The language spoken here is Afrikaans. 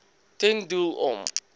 ten doel om